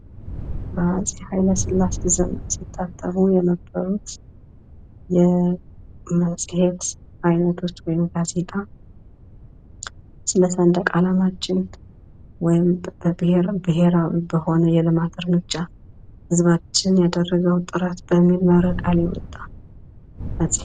በአጼ ኃይለሥላሴ ዘመን ሲታተሙ የነበሩት የመጽሔት አይነቶች ወይም ጋዜጣ ስለ ሰንደቅ አላማችን ወይም ብሔራዊ በሆነ የልማት እርምጃ ህዝባችን ያደረገው ጥረት በሚል